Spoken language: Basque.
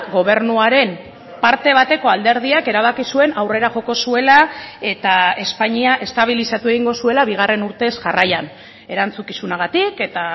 gobernuaren parte bateko alderdiak erabaki zuen aurrera joko zuela eta espainia estabilizatu egingo zuela bigarren urtez jarraian erantzukizunagatik eta